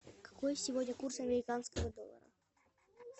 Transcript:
какой сегодня курс американского доллара